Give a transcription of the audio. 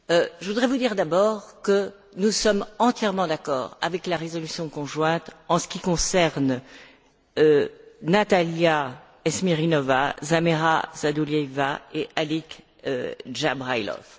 Je voudrais vous dire, d'abord, que nous sommes entièrement d'accord avec la résolution conjointe en ce qui concerne Natalia Estemirova, Zarema Sadulayeva et Alik Dzhabrailov.